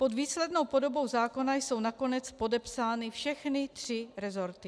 Pod výslednou podobou zákona jsou nakonec podepsány všechny tři resorty.